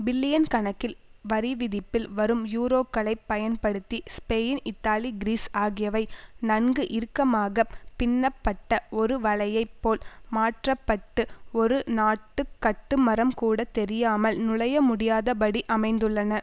billion கணக்கில் வரிவிதிப்பில் வரும் யூரோக்களைப் பயன்படுத்தி ஸ்பெயின் இத்தாலி கிரீஸ் ஆகியவை நன்கு இறுக்கமாக பின்னப்பட்ட ஒரு வலையைப் போல் மாற்ற பட்டு ஒரு நாட்டு கட்டுமரம் கூட தெரியாமல் நுழையமுடியாதபடி அமைந்துள்ளன